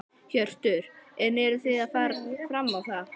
Hjörtur: En eruð þið að fara fram á það?